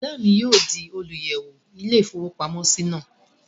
Bùrọ̀dá mi yóò di olùyẹ̀wò ilé-ìfowópamọ́sí náà